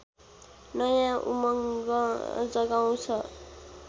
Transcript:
नयाँ उमङ्ग जगाउँछ